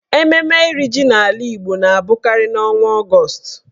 Mmemme iri ji n'ala Igbo na abụkarị n'ọnwa Ọgọọst.